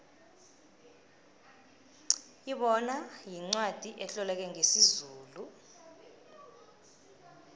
ibona yincwacli etloleke ngesizulu